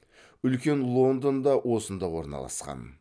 үлкен лондон да осында орналасқан